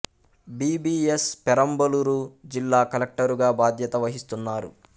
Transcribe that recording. B B S Perambalur జిల్లా కలెక్టరుగా బాధ్యత వహిస్తున్నారు